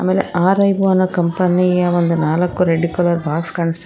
ಮತ್ತೆ ಆರ್_ಐ_ಓ ಅನ್ನ ಕಂಪನಿ ಅಲ್ಲಿ ನಾಲ್ಕು ರೆಡ್ ಕಲರ್ ಬಾಕ್ಸ್ ಕಾಣಸ್ತಾಯಿದೆ.